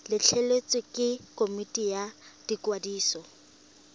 letleletswe ke komiti ya ikwadiso